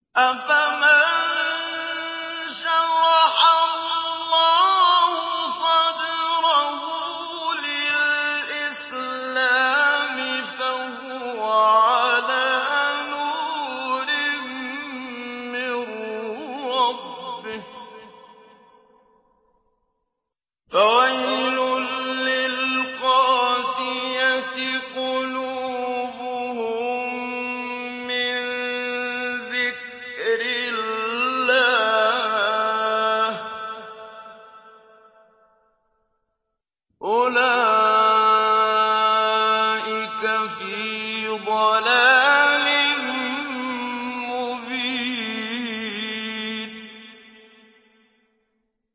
أَفَمَن شَرَحَ اللَّهُ صَدْرَهُ لِلْإِسْلَامِ فَهُوَ عَلَىٰ نُورٍ مِّن رَّبِّهِ ۚ فَوَيْلٌ لِّلْقَاسِيَةِ قُلُوبُهُم مِّن ذِكْرِ اللَّهِ ۚ أُولَٰئِكَ فِي ضَلَالٍ مُّبِينٍ